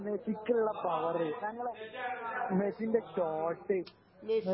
ഞങ്ങളെ മെസ്സിക്കുള്ള പവറു ഞങ്ങളെ മെസ്സിന്റെ ഷോട്ട്